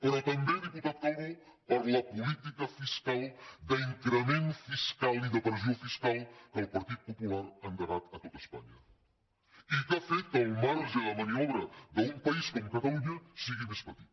però també diputat calbó per la política fiscal d’increment fiscal i de pressió fiscal que el partit popular ha endegat a tot espanya i que ha fet que el marge de maniobra d’un país com catalunya sigui més petit